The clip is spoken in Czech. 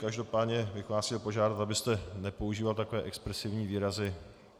Každopádně bych vás chtěl požádat, abyste nepoužíval takové expresivní výrazy.